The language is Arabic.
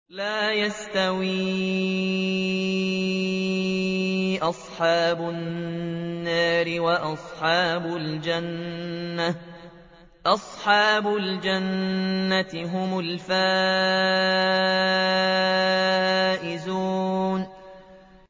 لَا يَسْتَوِي أَصْحَابُ النَّارِ وَأَصْحَابُ الْجَنَّةِ ۚ أَصْحَابُ الْجَنَّةِ هُمُ الْفَائِزُونَ